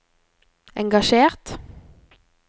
engasjert